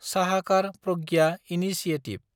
Sahakar Pragya initiative